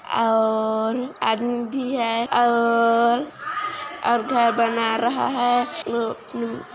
और आदमी भी हैं और और घर बना रहा हैं।